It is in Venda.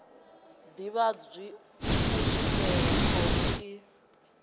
ḓivhadzwi u swikela khoro i